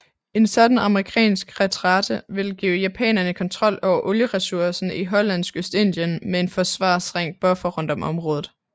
En sådan amerikansk retræte ville give japanerne kontrol over olieresurserne i Hollandsk Østindien med en forsvarsring buffer rundt om området